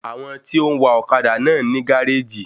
Àwọn tí ó ń wa ọ́kadà náà ní gáréjì